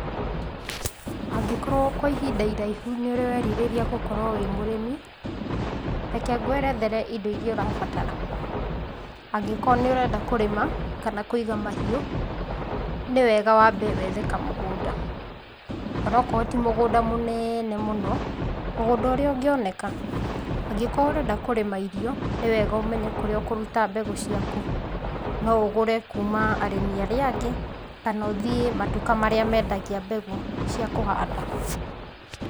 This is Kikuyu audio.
Angĩkorwo kwa ihinda iraihu nĩũrĩ werirĩria gũkorwo wĩ mũrimi, reke ngwerethere indo irĩa ũrabatara, angĩkorwo nĩ ũrenda kũrĩma kana kũiga mahiũ, nĩ wega wambe wethe kamũgũnda, o na okorwo ti mũgũnda mũnene mũno, mũgũnda ũrĩa ũngĩoneka. Angĩkorwo ũrenda kũrĩma irio, nĩ wega ũmenye kũrĩa ũkũruta mbegũ ciaku, no ũgũre kuma arĩmi arĩa angĩ kana ũthiĩ matuka marĩa mendagia mbegũ, cia kũhanda.